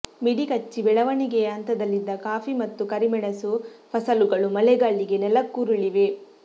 ಮಿಡಿಕಚ್ಚಿ ಬೆಳವಣಿಗೆಯ ಹಂತದಲ್ಲಿದ್ದ ಕಾಫಿ ಮತ್ತು ಕರಿಮೆಣಸು ಫಸಲುಗಳು ಮಳೆಗಾಳಿಗೆ ನೆಲಕ್ಕುರುಳಿವೆ